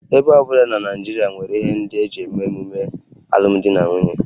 Ebo ọ bụla na Naịjirịa nwere ihe ndị e ji eme emume alụmdi na nwunye